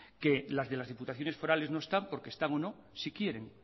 que las de las diputaciones forales no están porque están o no si quieren